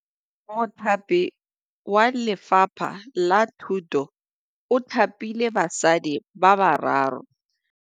Mothapi wa Lefapha la Thutô o thapile basadi ba ba raro.